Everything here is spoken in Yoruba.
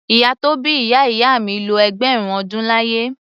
Ìyá tó bí ìyá ìyá mi lo ẹgbẹ̀rún ọdún láyé.